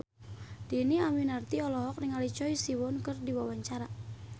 Dhini Aminarti olohok ningali Choi Siwon keur diwawancara